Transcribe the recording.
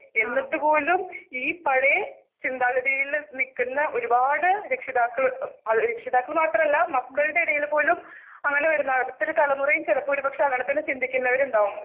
എന്നിട്ടുപോലും ഈ പഴേ ചിന്താഗതിയിലെ നിക്കുന്ന ഒരുപാടു രക്ഷിതാക്കള് ഉം അത് രക്ഷിതാക്കള് മാത്രമല്ല മക്കളുടെ ഇടയിൽപോലും അങ്ങനെ വരുന്ന അടുത്തൊരു തലമുറയും ചിലപ്പോൾ ഒരുപക്ഷെ അങ്ങനെതന്നെ ചിന്തിക്കുന്നവരുണ്ടാകും.